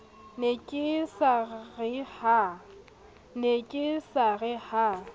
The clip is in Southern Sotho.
ne ke sa re ha